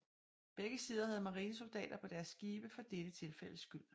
Begge sider havde marinesoldater på deres skibe for dette tilfældes skyld